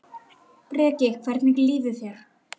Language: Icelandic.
Það er ekki eitrað peð?